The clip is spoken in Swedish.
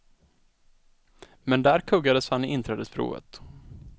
Men där kuggades han i inträdesprovet.